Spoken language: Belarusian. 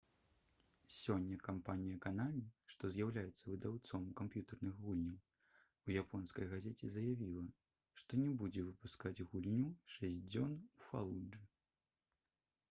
сёння кампанія «канамі» што з'яўляецца выдаўцом камп'ютэрных гульняў у японскай газеце заявіла што не будзе выпускаць гульню «шэсць дзён у фалуджы»